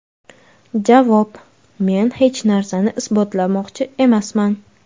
Javob: Men hech narsani isbotlamoqchi emasman.